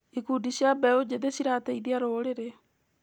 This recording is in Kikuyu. Ikundi cia mbeũ njĩthĩ cirateithia rũrĩrĩ.